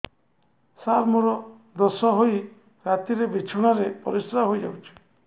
ସାର ମୋର ଦୋଷ ହୋଇ ରାତିରେ ବିଛଣାରେ ପରିସ୍ରା ହୋଇ ଯାଉଛି